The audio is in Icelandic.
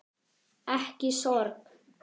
Ekki sorg.